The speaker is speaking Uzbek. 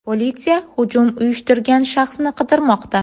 Politsiya hujum uyushtirgan shaxsni qidirmoqda.